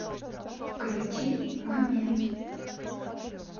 включи момент